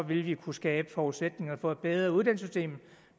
ville vi kunne skabe forudsætninger for et bedre uddannelsessystem